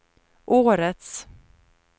årets